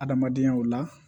Adamadenya la